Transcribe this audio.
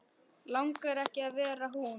Langar ekki að vera hún.